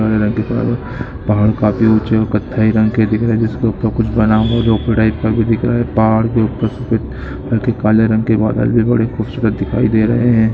काले रंग के फ़्लोएर पहाड़ काफी उज्जैन कत्थई रंग के दिख रहे जिसके ऊपर कुछ बना हुआ भी दिख रहा है | पहाड़ के ऊपर सफेद ते काले रंग के बादल भी बड़े खूबसूरत दिखाई दे रहे हैं।